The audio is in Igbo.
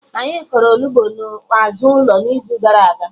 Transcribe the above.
Anyị kọrọ Onugbu na azụ ụlọ n'izu gara aga